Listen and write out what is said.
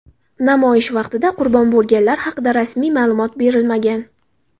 Namoyish vaqtida qurbon bo‘lganlar haqida rasmiy ma’lumot berilmagan.